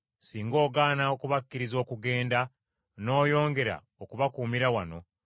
Singa ogaana okubakkiriza okugenda, n’oyongera okubakuumira wano,